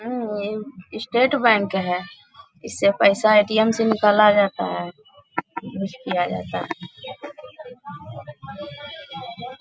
State Bank है | इससे पैसा ऐ.टी.एम. से निकाला जाता है यूज़ किया जाता है ।